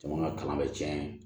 Jamana kalan bɛ tiɲɛ ye